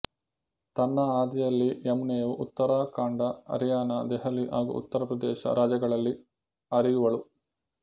ತನ್ನ ಹಾದಿಯಲ್ಲಿ ಯಮುನೆಯು ಉತ್ತರಾಖಂಡ ಹರ್ಯಾಣ ದೆಹಲಿ ಹಾಗೂ ಉತ್ತರಪ್ರದೇಶ ರಾಜ್ಯಗಳಲ್ಲಿ ಹರಿಯುವಳು